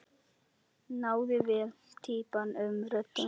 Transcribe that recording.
Náði vel týpum og röddum.